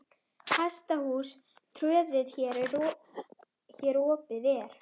Hesthús tröð hér opið er.